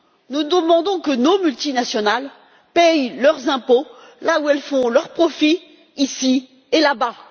Nous demandons que nos multinationales paient leurs impôts là où elles font leurs profits, ici et là bas.